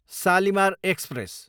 Shalimar express